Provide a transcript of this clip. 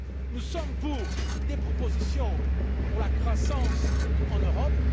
Nous souhaitons des propositions pour la croissance en Europe.